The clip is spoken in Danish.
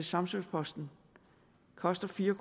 samsø posten koster fire